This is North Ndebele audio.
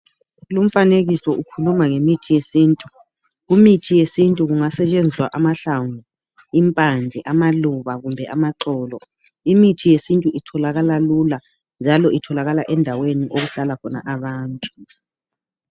Lumfanekiso ukhuluma ngemithi yesintu. Imithi yesintu kungastshenziswa amahlamvu, impande, amaluba kumbe amaxolo. Imithi yesintu itholakala lula njalo itholakala endaweni okuhlala khona abantu.